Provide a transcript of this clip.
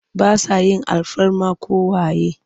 Ba sa yin alfarma ko waye.